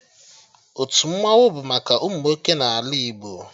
Otu Mmannwụ bụ maka ụmụ nwoke n'ala Igbo